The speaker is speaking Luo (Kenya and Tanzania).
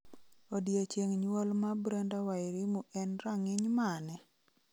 Odiechieng' nyuol ma Brenda Wairimu en rang'iny mane?